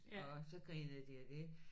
Og så grinede de af det